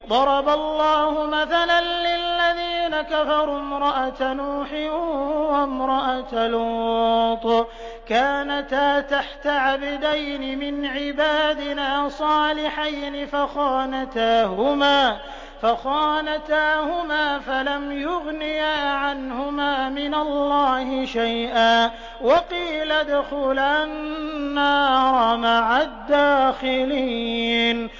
ضَرَبَ اللَّهُ مَثَلًا لِّلَّذِينَ كَفَرُوا امْرَأَتَ نُوحٍ وَامْرَأَتَ لُوطٍ ۖ كَانَتَا تَحْتَ عَبْدَيْنِ مِنْ عِبَادِنَا صَالِحَيْنِ فَخَانَتَاهُمَا فَلَمْ يُغْنِيَا عَنْهُمَا مِنَ اللَّهِ شَيْئًا وَقِيلَ ادْخُلَا النَّارَ مَعَ الدَّاخِلِينَ